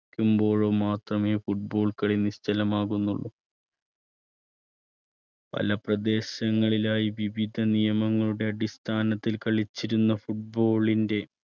വെക്കുമ്പോഴോ മാത്രമേ football കളി നിശ്ചലമാകുന്നുള്ളൂ. പല പ്രദേശങ്ങളിലായി വിവിധ നിയമങ്ങളുടെ അടിസ്ഥാനത്തിൽ കളിച്ചിരുന്ന football ൻ്റെ